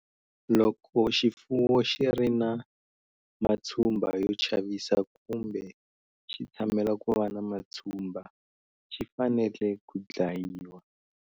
Loko xifuwo xi ri na matshumba yo chavisa kumbe xi tshamela ku va na matshumba, xi fane le ku dlayiwa.